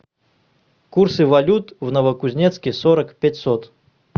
курсы валют в новокузнецке сорок пятьсот